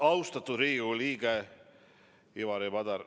Austatud Riigikogu liige Ivari Padar!